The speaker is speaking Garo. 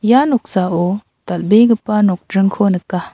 ia noksao dal·begipa nokdringko nika.